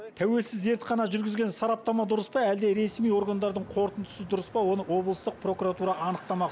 тәуелсіз зертхана жүргізген сараптама дұрыс па әлде ресми органдардың қорытындысы дұрыс па оны облыстық прокуратура анықтамақ